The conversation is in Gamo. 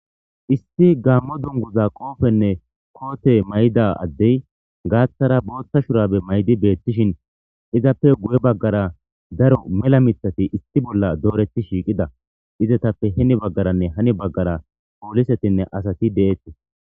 Issi gaammo dunguza qoofenne koote mayida addey gaaththara booththa shurabe maydi beethtishin izappe guye baggara daro mela mithati isti bolla dooreti shiiqida izatappe hini baggaranne hani baggara poolisetinne asati de'ettis.